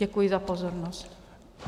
Děkuji za pozornost.